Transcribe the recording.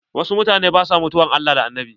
Wasu mutanen ba sua mutuwan Allah da Annabi.